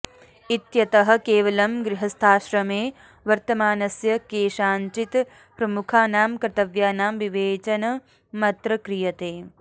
इत्यतः केवलं गृहस्थाश्रमे वर्तमानस्य केषांचित् प्रमुखानां कर्तव्यानां विवेचनमत्र क्रियते